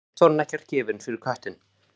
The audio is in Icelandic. Samt var hún ekkert gefin fyrir köttinn.